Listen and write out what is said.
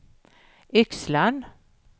Yxlan